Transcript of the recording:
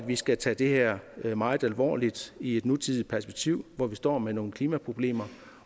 vi skal tage det her meget alvorligt i et nutidigt perspektiv hvor vi står med nogle klimaproblemer